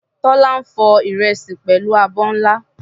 Tola ń fọ ìrẹsì pẹ̀lú abọ́ ńlá.